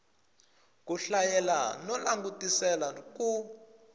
ku hlayela no langutisela ku